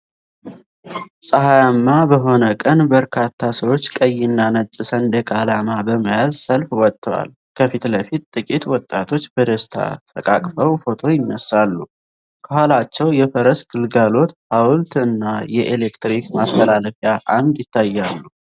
ፀሐያማ በሆነ ቀን፣ በርካታ ሰዎች ቀይና ነጭ ሰንደቅ ዓላማ በመያዝ ሰልፍ ወጥተዋል። ከፊት ለፊት፣ ጥቂት ወጣቶች በደስታ ተቃቅፈው ፎቶ ይነሳሉ፣ ከኋላቸው የፈረስ ግልጋሎት ሐውልት እና የኤሌክትሪክ ማስተላለፊያ ዐምድ ይታያሉ።